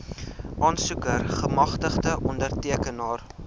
aansoeker gemagtigde ondertekenaar